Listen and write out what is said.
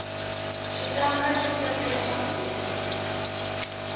xitanga xi swekela swakudya